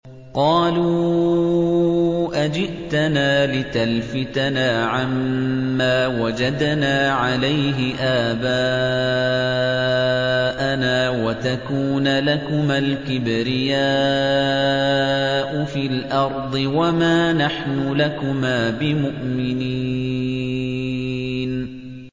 قَالُوا أَجِئْتَنَا لِتَلْفِتَنَا عَمَّا وَجَدْنَا عَلَيْهِ آبَاءَنَا وَتَكُونَ لَكُمَا الْكِبْرِيَاءُ فِي الْأَرْضِ وَمَا نَحْنُ لَكُمَا بِمُؤْمِنِينَ